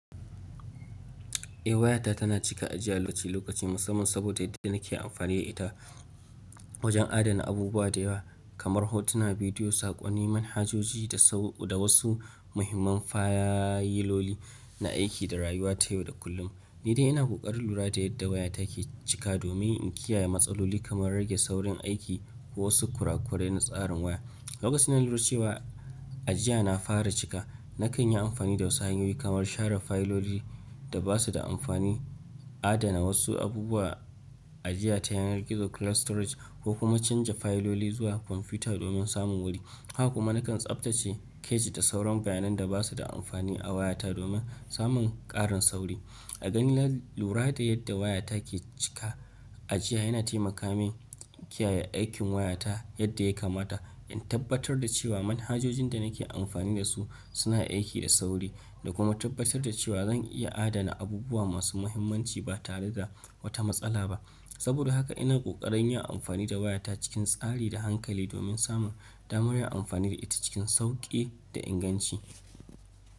Eh wayata tana cika ajiya lokaci-lokaci musamman saboda yadda nake amfani da ita wajen adana abubuwa da yawa kamar hotuna, bidiyo, saƙonni, manhajoji da wasu muhimman fayiloli na aiki da rayuwa ta yau da kullum. Ni dai ina ƙoƙarin lura da yadda wayata ke cika da domin in kiyaye matsaloli kamar rage saurin aiki ko wasu kurakurai na tsarin waya. Lokacin da na lura cewa ajiya na fara cika, nakan yi amfani da wasu hanyoyi kamar share fayilolin da ba su da amfani, adana wasu abubuwa ajiya ta yanar gizo cloud storage, ko kuma canja fayiloli zuwa kwamfuta domin samun wuri. Haka kuma nakan tsaftace keji da sauran bayanai da ba su da amfani a wayata domin samun ƙarin sauri. A gani na lura da yadda wayata ke cika ajiya yana taimaka min kiyaye aikin wayata yadda ya kamata, in tabbatar da cewa manhajojin da nake amfani da su suna aiki da sauri, da kuma tabbatar da cewa zan iya adana abubuwa masu muhimmanci ba tare da wata matsala ba. Saboda haka ina ƙoƙarin yin amfani da wayata cikin tsari da hankali domin samun damar yin amfani da ita cikin sauƙi da inganci.